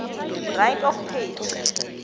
right of page